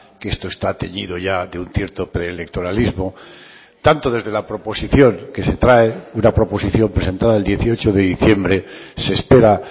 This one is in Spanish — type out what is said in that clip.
que esto está teñido ya de un cierto pre electoralismo tanto desde la proposición que se trae una proposición presentada el dieciocho de diciembre se espera